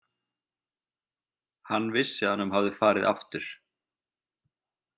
Hann vissi að honum hafði farið aftur.